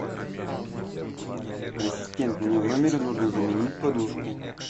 ассистент мне в номере нужно заменить подушку